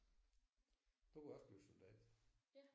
Du kunne også blive soldat